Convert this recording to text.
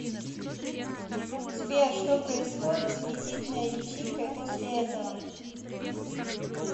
сбер что происходит с мизидной личинкой после этого